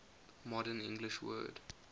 modern english word